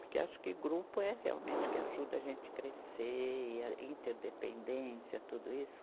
Porque acho que grupo é realmente o que ajuda a gente crescer, e a interdependência, tudo isso.